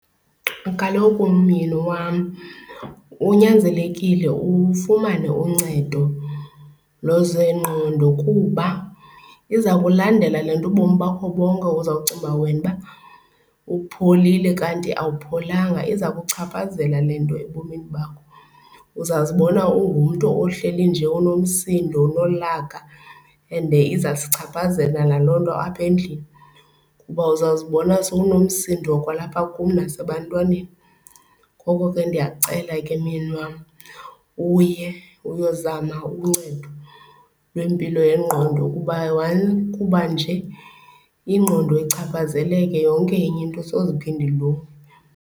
Kaloku myeni wam unyanzelekile ufumane uncedo lwezengqondo kuba iza kulandela le nto ubomi bakho bonke. Uzocinga wena uba upholile kanti awupholanga, iza kuchaphazela le nto ebomini bakho. Uzazibona ungumntu ohleli nje unomsindo unolaka and izawusichaphazela naloo nto apha endlini kuba uzawuzibona sowunosindo kwalapha kum nasebantwaneni. Ngoko ke ndiyakucela ke myeni wam uye, uyozama uncedo lwempilo yengqondo kuba kuba nje ingqondo ichaphazeleke yonke enye into soze iphinde ilunge.